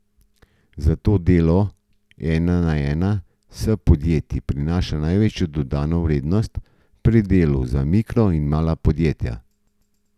Zato delo ena na ena s podjetji prinaša največjo dodano vrednost pri delu za mikro in mala podjetja.